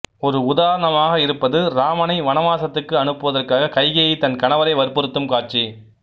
ஒரு உதாரணமாக இருப்பது இராமனை வனவாசத்துக்கு அனுப்புவதற்காக கைகேயி தன் கணவரை வற்புறுத்தும் காட்சி